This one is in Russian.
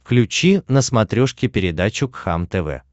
включи на смотрешке передачу кхлм тв